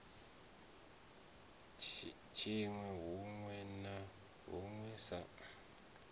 tshinwi huṋwe na huṋwe sa